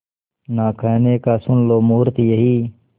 ना कहने का सुन लो मुहूर्त यही